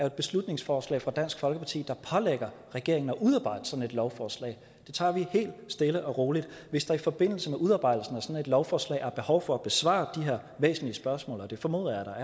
et beslutningsforslag fra dansk folkeparti der pålægger regeringen at udarbejde sådan et lovforslag det tager vi helt stille og roligt hvis der i forbindelse med udarbejdelsen af sådan et lovforslag er behov for at besvare de her væsentlige spørgsmål og det formoder